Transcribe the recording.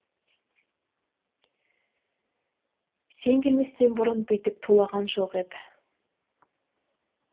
сен келместен бұрын бүйтіп тулаған жоқ еді